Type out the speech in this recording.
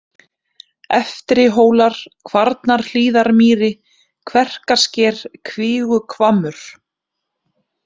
Eftrihólar, Kvarnarhlíðarmýri, Kverkarsker, Kvíguhvammur